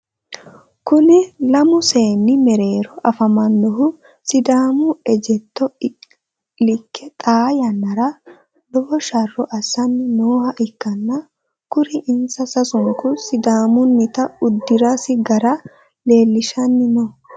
Kunni lamu seenni mereero afamanohu sidaamu ejjeetto Ike xaa yanara lowo sharo asanni nooha ikanna kuri insa sasunku sidaamunnita udirasi gara leelishanni no.